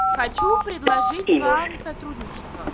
хочу предложить вам сотрудничество